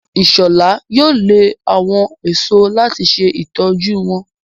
Ishola yóò lẹ àwọn èso láti se ìtọjú wón.